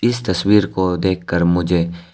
इस तस्वीर को देखकर मुझे--